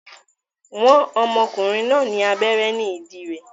Wọ́n ọmọkùnrin náà ní abẹ́rẹ́ ní ìdí rẹ̀